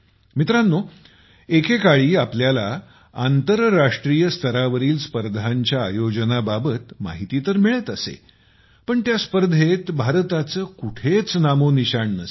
मित्रांनो एकेकाळी आपल्याला आंतरराष्ट्रीयमध्ये स्तरावरील स्पर्धांच्या आयोजनाबाबत माहिती तर मिळत असे पण त्या स्पर्धेत भारताचे कुठेच नामोनिशाण नसे